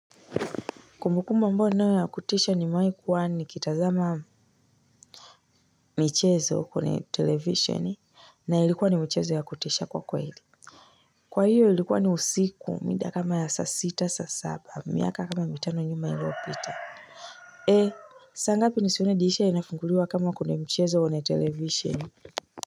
Kumbukumbu ambayo ninayo ya kutisha nimewahi kuwa kitazama. Michezo kwenye televisheni, na ilikuwa ni michezo wa kutisha kwa hili. Kwa hiyo ilikuwa ni usiku, saa kama ya sita, saa saba, miaka kama mitano nyuma iliyopita. Eh, saa ngapi nilisikia dirisha linafunguliwa kama kwenye mchezo kwenye televisheni.